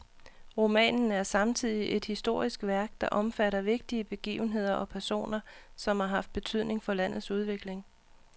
Romanen er samtidig et historisk værk, der omfatter vigtige begivenheder og personer, som har haft betydning for landets udvikling.